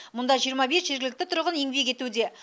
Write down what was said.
мұнда жиырма бес жергілікті тұрғын еңбек етуде